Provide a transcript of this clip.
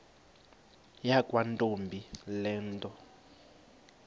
yakwantombi le nto